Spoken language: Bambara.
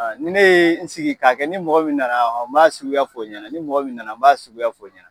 Ni ne ye n sigi k'a kɛ ni mɔgɔ min nana n b'a suguya fɔ o ɲɛna ,ni mɔgɔ min nana , n b'a suguya fɔ o ɲɛna.